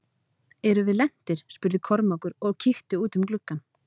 Erum við lentir spurði Kormákur og kíkti út um gluggann.